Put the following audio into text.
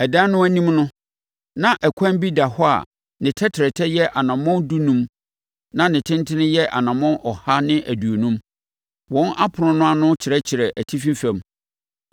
Adan no anim no, na ɛkwan bi da hɔ a ne tɛtrɛtɛ yɛ anammɔn dunum na tentene yɛ anammɔn ɔha ne aduonum. Wɔn apono no ano kyerɛkyerɛ atifi fam.